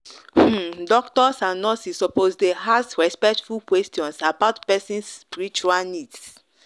um doctors and nurses suppose dey ask respectful questions about person um spiritual needs.